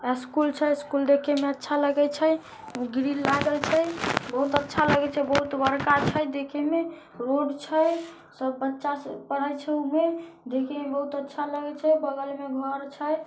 School छै school देख में अच्छा लागय छय ग्रिल लागल छय बहुत अच्छा लगय छय बहुत बड़का छय देखे में रोड छय सब बच्चा स पढ़ाई छै में देखे में बहुत अच्छा लगे छय बगल में घर छय।